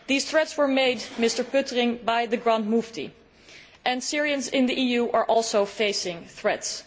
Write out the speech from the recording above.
Those threats were made, Mr Pöttering, by the Grand Mufti, and Syrians in the EU are also facing threats.